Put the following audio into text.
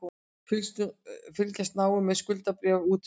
Fylgjast náið með skuldabréfaútboði